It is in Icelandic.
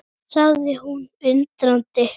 sagði hún undrandi.